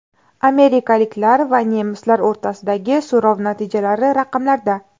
Amerikaliklar va nemislar o‘rtasidagi so‘rov natijalari raqamlarda.